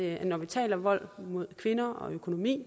når vi taler om vold mod kvinder og økonomi